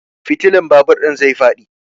Fitilan babur ɗin zai faɗi.